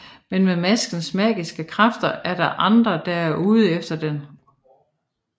Men med maskens magiske kræfter er der andre der er ude efter den